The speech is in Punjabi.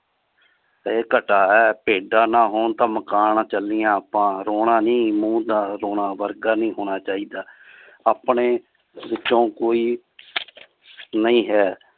ਐ ਘਟਾ ਹੈ ਭੇਡਾਂ ਨਾ ਹੋਣ ਤਾ ਮਕਾਨ ਚਲੀਆਂ ਆਪਾਂ ਰੋਣਾ ਨੀ ਮੂੰਹ ਤਾਂ ਰੋਣਾ ਵਰਗਾ ਨਹੀਂ ਹੋਣਾ ਚਾਹੀਦਾ ਆਪਣੇ ਵਿੱਚੋ ਕੋਈ ਨਹੀਂ ਹੈ।